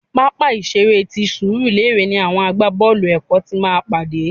Pápá ìṣeré ti Surulere ni àwọn àgbá-boolu èkó ti máa pàdé.